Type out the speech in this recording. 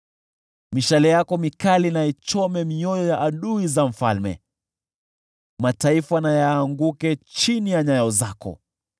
Mishale yako mikali na ichome mioyo ya adui za mfalme, mataifa na yaanguke chini ya nyayo zako.